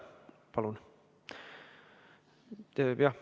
Palun!